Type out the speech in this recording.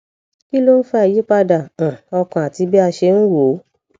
kí ló ń fa ìyípadà um ọkàn àti bí a ṣe ń wo ó